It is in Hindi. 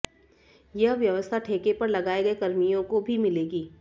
यह व्यवस्था ठेके पर लगाये गये कर्मियों को भी मिलेगी